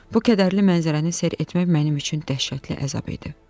Bu kədərli mənzərəni seyr etmək mənim üçün dəhşətli əzab etdi.